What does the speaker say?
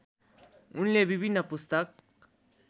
उनले विभिन्न पुस्तक